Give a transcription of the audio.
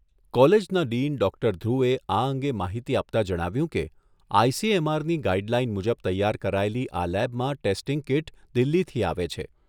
કોલેજના ડીન ડો.ધ્રુવે આ અંગે માહિતી આપતા જણાવ્યુંં કે, આઈ.સી.એમ.આર.ની ગાઇડલાઇન મુજબ તૈયાર કરાયેલી આ લેબમાં ટેસ્ટીંગ કીટ દિલ્હીથી આવે છે.